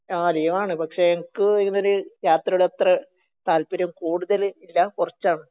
ആ ലീവാണ് പക്ഷെ ഇൻക് ഇതിനൊരു യാത്രയോട് അത്രെ താല്പര്യം കൂടുതൽ ഇല്ല കുറച്ചാണ്